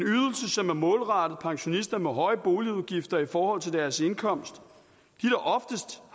som er målrettet pensionister med høje boligudgifter i forhold til deres indkomst